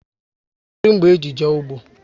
Kedu mgbe e ji jee ụgbọ?